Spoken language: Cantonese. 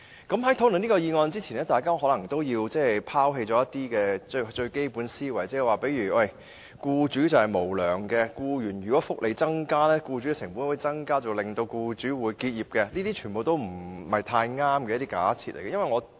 在討論這項議案之前，大家可能先要拋棄一些基本思維，例如僱主是無良的、增加僱員福利，便會增加僱主的成本，導致僱主結業等，這些全部是不太正確的假設。